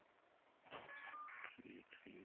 ਠੀਕ ਠੀਕ